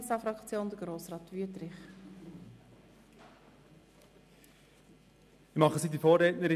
Für die SP-JUSO-PSA-Fraktion hat Grossrat Wüthrich das Wort.